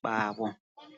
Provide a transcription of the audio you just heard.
kwavo.